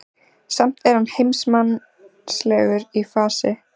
Samt er hann heimsmannslegur í fasi.